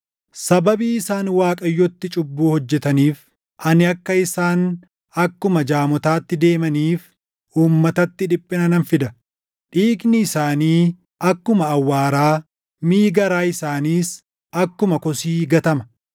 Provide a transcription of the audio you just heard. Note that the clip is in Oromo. “Sababii isaan Waaqayyootti cubbuu hojjetaniif, ani akka isaan akkuma jaamotaatti deemaniif uummatatti dhiphina nan fida. Dhiigni isaanii akkuma awwaaraa, miʼi garaa isaaniis akkuma kosii gatama.